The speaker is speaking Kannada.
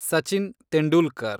ಸಚಿನ್ ತೆಂಡೂಲ್ಕರ್